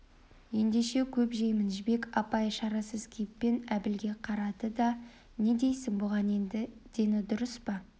ендеше көп жеймін жібек апай шарасыз кейіппен әбілге қарады не дейсің бұған енді дені дұрыс па